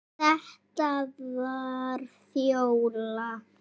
Þetta var Fjóla.